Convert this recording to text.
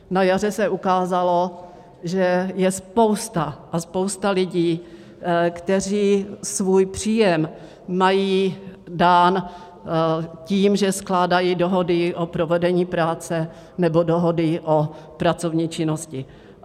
Na jaře se ukázalo, že je spousta a spousta lidí, kteří svůj příjem mají dán tím, že skládají dohody o provedení práce nebo dohody o pracovní činnosti.